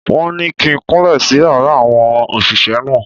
Wọ́n ní kí n kúnlẹ̀ sí yàrá àwọn òṣìṣẹ́ náà.